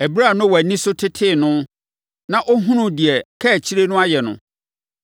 Ɛberɛ a Noa ani so tetee no, na ɔhunuu deɛ ne kaakyire no ayɛ no,